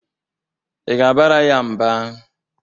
Ị ga-abara ya mba?